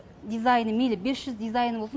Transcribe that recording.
дизайын мейлі бес жүз дизайны болсын